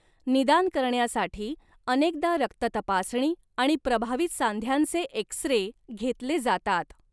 निदान करण्यासाठी अनेकदा रक्ततपासणी आणि प्रभावित सांध्यांचे एक्स रे घेतले जातात.